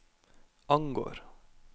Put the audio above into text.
angår